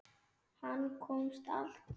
Hann komst allt.